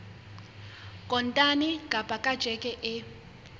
kontane kapa ka tjheke e